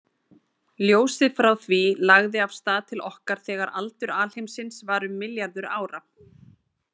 Ljósið frá því lagði af stað til okkar þegar aldur alheimsins var um milljarður ára.